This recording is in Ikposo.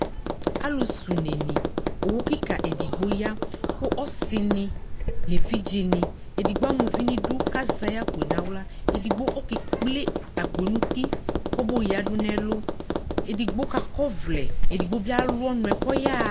Alʋsɛunenɩ, owu kɩka edigbo ya kʋ ɔsɩnɩ nʋ evidzenɩ, edigbo ama uvi nʋ idu kʋ azɛ ayʋ akpo yɛ nʋ aɣla Edigbo ɔkekple akpo yɛ nʋ uti kayɔyǝdu nʋ ɛlʋ Edigbo kakɔ ɔvlɛ, edigbo bɩ alʋ ɔnʋ kʋ ɔyaɣa